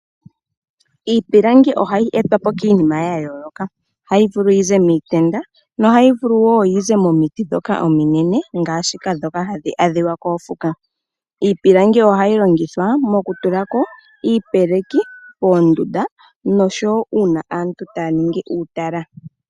Iipilangi ohayi etwa po kiinima oyindji ohayi vulu okuza miitend yo ohayi vulu wo okuza momiti dhoka hadhi adhika kofuka iipilangi ohayi longithwa mokutulako iipeleki koondunda noshowo uuna aantu taaningi uutala.